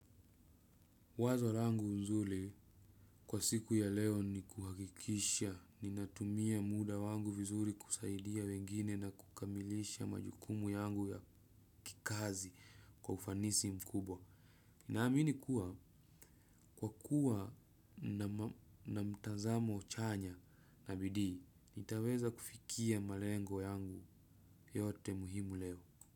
Wazo langu nzuri kwa siku ya leo ni kuhakikisha ninatumia muda wangu vizuri kusaidia wengine na kukamilisha majukumu yangu ya kikazi kwa ufanisi mkubwa. Naamini kuwa kwa kuwa na mtazamo chanya na bidii, nitaweza kufikia malengo yangu yote muhimu leo.